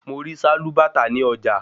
Mo rí sálúbàtà ní ọjà